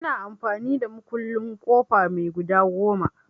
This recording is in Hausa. Ina amfani da mukullin ƙofa mai guda goma.